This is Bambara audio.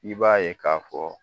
I b'a ye ka fɔ